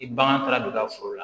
I bagan taara don i ka foro la